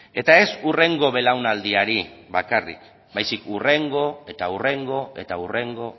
eta ez hurrengo belaunaldiari bakarrik baizik hurrengo eta hurrengo eta hurrengo